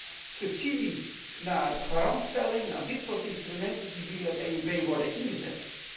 Wij gaan van subsidies naar garantstelling, naar dit soort instrumenten die via de EIB worden ingezet.